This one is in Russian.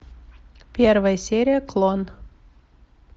первая серия клон